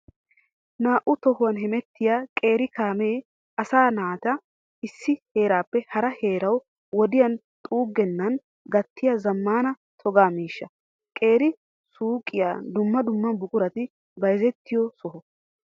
Naa'u tohuwan hemettiya qeeri kaame asaa naata issi heerappe hara heerawu wodiyaa xugenann gatiya zamaana toga miishsha. Qeeri suyqqe dumma dumma buquratti bayzzettiyo sohuwaa.